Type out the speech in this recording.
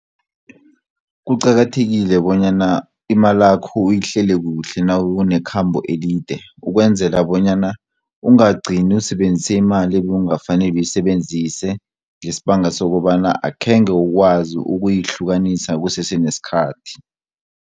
Kuqakathekile bonyana imalakho uyihlele kuhle nawunekhambo elide ukwenzela bonyana ungagcini usebenzise imali ekungafaneli uyisebenzise ngesibanga sokobana akhenge ukwazi ukuyihlukanisa kusese nesikhathi.